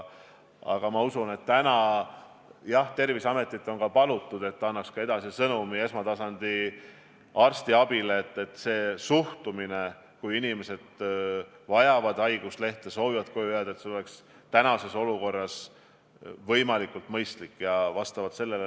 Aga jah, Terviseametit on ka palutud, et nad annaks esmatasandi arstiabi osutajatele edasi sõnumi, et kui inimesed vajavad haiguslehte, soovivad koju jääda, siis see oleks praeguses olukorras mõistlik.